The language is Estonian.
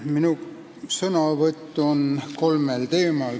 Minu sõnavõtt on kolmel teemal.